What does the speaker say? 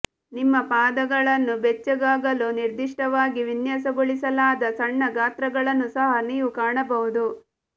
ನಿಮ್ಮ ಪಾದಗಳನ್ನು ಬೆಚ್ಚಗಾಗಲು ನಿರ್ದಿಷ್ಟವಾಗಿ ವಿನ್ಯಾಸಗೊಳಿಸಲಾದ ಸಣ್ಣ ಗಾತ್ರಗಳನ್ನು ಸಹ ನೀವು ಕಾಣಬಹುದು